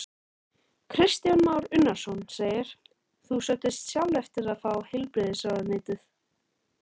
Kristján Már Unnarsson: Þú sóttist sjálf eftir að fá heilbrigðisráðuneytið?